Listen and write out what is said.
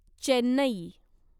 Chennai